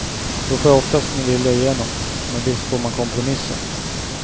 Då får jag oftast min vilja igenom, men visst får man kompromissa.